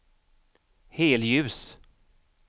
helljus